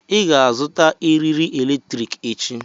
Ị ga-azụta eriri eletrik echi.